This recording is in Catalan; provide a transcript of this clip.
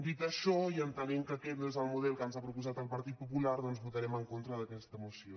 dit això i entenent que aquest no és el model que ens ha proposat el partit popular doncs votarem en con·tra d’aquesta moció